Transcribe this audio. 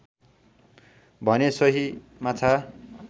भने सोही माछा